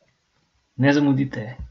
Ne zamudite!